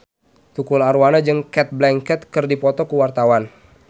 Tukul Arwana jeung Cate Blanchett keur dipoto ku wartawan